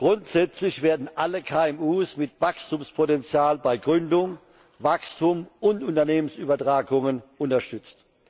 Grundsätzlich werden alle KMU mit Wachstumspotenzial bei Gründung, Wachstum und Unternehmensübertragungen unterstützt.